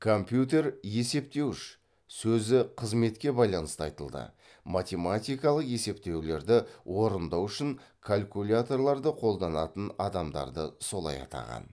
компьютер есептеуіш сөзі қызметке байланысты айтылды математикалық есептеулерді орындау үшін калькуляторларды қолданатын адамдарды солай атаған